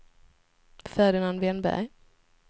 Ferdinand Wennberg